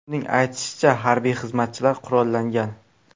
Uning aytishicha, harbiy xizmatchilar qurollangan.